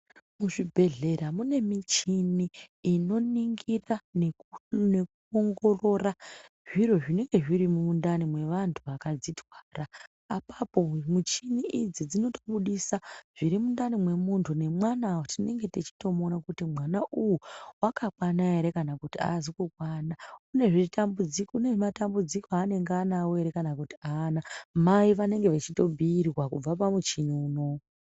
Muzvibhedhlera mune michini inoningira nekuongorora zviro zvinenge zviri mumundani mevanhu vakadzitwara apapo muchini idzi dzinoto budisa zviri mundani mwemuntu nemwana tinenge techitomuona kuti mwana uwu wakakwana here kana kuti hazi kukwana kune matambudziko anenge anawo here kana kuti hana. Mai vanenge vachito bhuyirwa kubva pamuchini unowu.